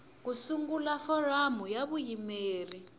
ku sungula foramu ya vuyimeri